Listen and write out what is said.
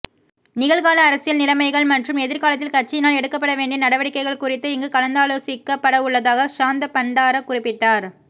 நிகழ்கால அரசியல் நிலைமைகள் மற்றும் எதிர்காலத்தில் கட்சியினால் எடுக்கப்பட வேண்டிய நடவடிக்கைகள் குறித்து இங்கு கலந்தோலோசிக்கப்படவுள்ளதாக ஷாந்த பண்டார குறிப்பிட்டார்